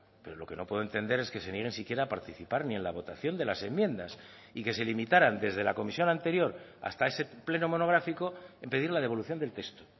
pero lo que no puedo entender es que se nieguen siquiera a participar ni en la votación de las enmiendas y que se limitaran desde la comisión anterior hasta ese pleno monográfico en pedir la devolución del texto